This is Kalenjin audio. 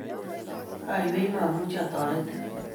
Aywei momuchi atoretin.